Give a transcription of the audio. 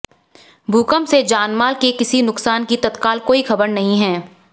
भूकंप से जानमाल के किसी नुकसान की तत्काल कोई खबर नहीं है